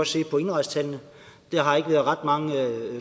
se på indrejsetallene der har ikke været ret mange